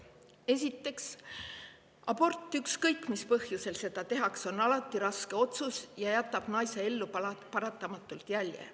Esiteks, abort, ükskõik mis põhjusel seda tehakse, on alati raske otsus ja paratamatult jätab see naise ellu jälje.